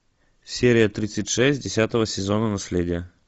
серия тридцать шесть десятого сезона наследие